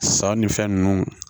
San ni fɛn nunnu